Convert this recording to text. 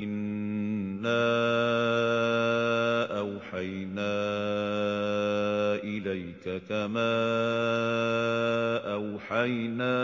۞ إِنَّا أَوْحَيْنَا إِلَيْكَ كَمَا أَوْحَيْنَا